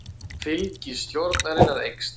Fylgi stjórnarinnar eykst